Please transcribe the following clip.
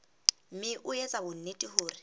mme o etse bonnete hore